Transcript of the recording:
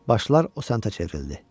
Başlar o səntə çevrildi.